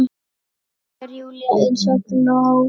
spyr Júlía eins og glópur.